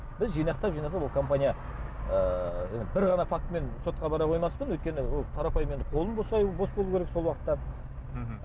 біз жинақтап жинақтап ол компания ыыы енді бір ғана фактімен сотқа бара қоймаспын өйткені ол қарапайым енді қолым бос болу керек сол уақытта мхм